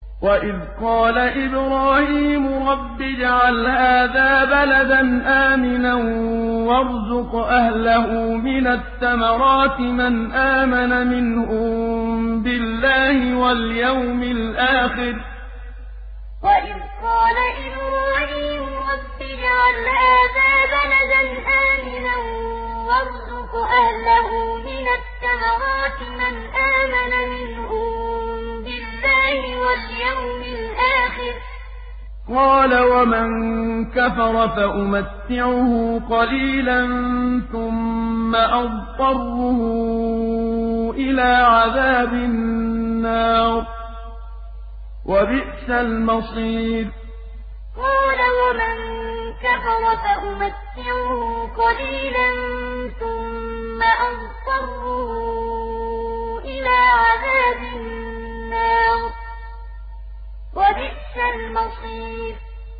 وَإِذْ قَالَ إِبْرَاهِيمُ رَبِّ اجْعَلْ هَٰذَا بَلَدًا آمِنًا وَارْزُقْ أَهْلَهُ مِنَ الثَّمَرَاتِ مَنْ آمَنَ مِنْهُم بِاللَّهِ وَالْيَوْمِ الْآخِرِ ۖ قَالَ وَمَن كَفَرَ فَأُمَتِّعُهُ قَلِيلًا ثُمَّ أَضْطَرُّهُ إِلَىٰ عَذَابِ النَّارِ ۖ وَبِئْسَ الْمَصِيرُ وَإِذْ قَالَ إِبْرَاهِيمُ رَبِّ اجْعَلْ هَٰذَا بَلَدًا آمِنًا وَارْزُقْ أَهْلَهُ مِنَ الثَّمَرَاتِ مَنْ آمَنَ مِنْهُم بِاللَّهِ وَالْيَوْمِ الْآخِرِ ۖ قَالَ وَمَن كَفَرَ فَأُمَتِّعُهُ قَلِيلًا ثُمَّ أَضْطَرُّهُ إِلَىٰ عَذَابِ النَّارِ ۖ وَبِئْسَ الْمَصِيرُ